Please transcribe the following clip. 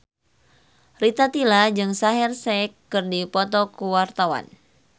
Rita Tila jeung Shaheer Sheikh keur dipoto ku wartawan